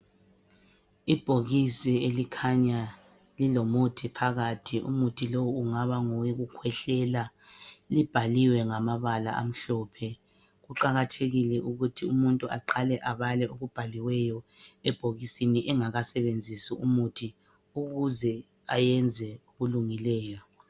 Ibhokisi elikhanya lilomuthi phakathi. Umuthi lowu ungaba ngowokukhwehlela libhaliwe ngamabala amhlophe. Kuqakathekile ukuthi umuntu aqale abale okubhaliweyo ebhokisini engakawusebenzisi umuthi ukuze ayenze okulungileyo.